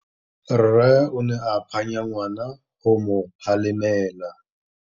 Rre o ne a phanya ngwana go mo galemela.